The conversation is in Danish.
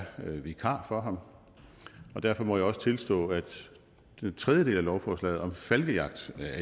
vikar for ham og derfor må jeg også tilstå at den tredje del af lovforslaget om falkejagt